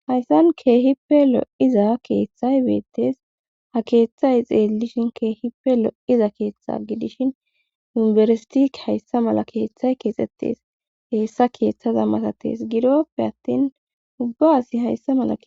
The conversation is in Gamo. hayssan keehippe lo7iza keeththay beettes ha keeththay xeelishin keehippe lo7iza keeththa gidishin yumbersiti hayssa mala keeththay keexxettes heessa keeththaza matatees gidoppe attin ubba asi hayssa mala